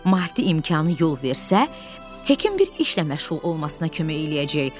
Maddi imkanı yol versə, Hekə bir işlə məşğul olmasına kömək eləyəcək.